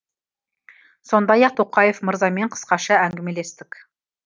сондай ақ тоқаев мырзамен қысқаша әңгімелестік